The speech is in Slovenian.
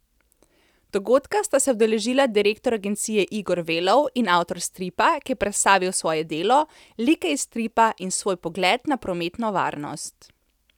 Dogodka sta se udeležila direktor agencije Igor Velov in avtor stripa, ki je predstavil svoje delo, like iz stripa in svoj pogled na prometno varnost.